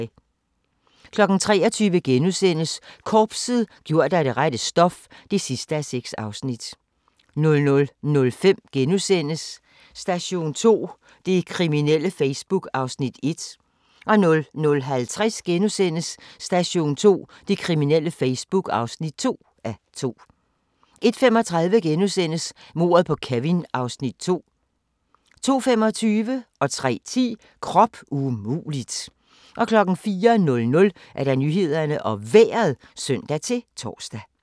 23:00: Korpset - gjort af det rette stof (6:6)* 00:05: Station 2: Det kriminelle Facebook (1:2)* 00:50: Station 2: Det kriminelle Facebook (2:2)* 01:35: Mordet på Kevin (Afs. 2)* 02:25: Krop umulig! 03:10: Krop umulig! 04:00: Nyhederne og Vejret (søn-tor)